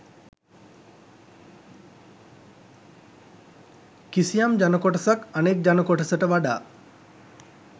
කිසියම් ජනකොටසක් අනෙක් ජනකොටසට වඩා